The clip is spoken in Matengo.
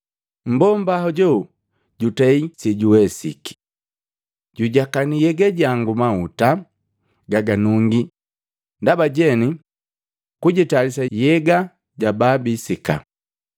Mmbomba hoju jutei sejuwesiki. Jujakanii nhyega jangu mahuta gaganungi ndaba jeni kujitayalisa nhyega ja pabiisika.